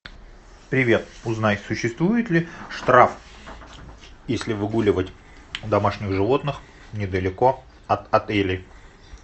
привет узнай существует ли штраф если выгуливать домашних животных недалеко от отелей